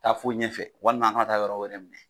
Taa fo ɲɛfɛ walima an kana taa yɔrɔ wɛrɛ bilen.